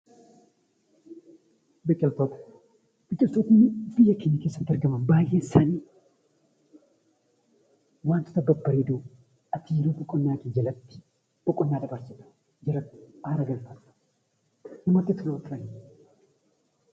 Biqiltoonni biyya keenya keessatti argaman baay'een isaanii wantoota babbareedoo qonna jalatti fayidaa qabanidha.